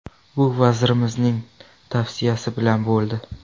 Bu vazirimizning tavsiyasi bilan bo‘ldi.